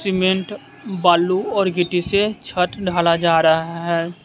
Cement बालू और गिट्टी से छत ढाला जा रहा है।